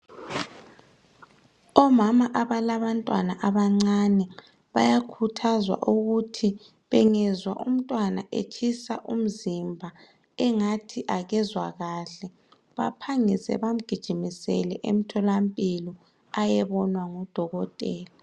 Omama abalabantwanna abancane bayakhuthazwa ukuthi bengezwa umntwana etshisa umzimba engathi akezwa kahle baphangise bamgijimisele emtholampilo ayebonwa ngudokotela.